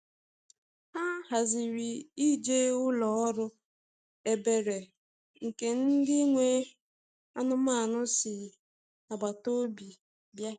Ha haziri ije ụlọ ọrụ ebere nke ndị nwe anụmanụ si agbata obi bịa.